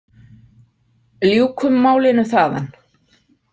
Ljúkum málinu þaðan.